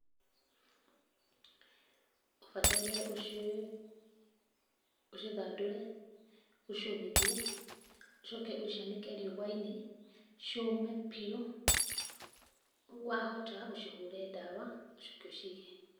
Ũbataire ũciũe, ũcithandũre, ũciũmithie, ũcoke ũcianĩke rĩua-inĩ ciũme biũ, wahota ũcihũre ndawa, ũcoke ũciige.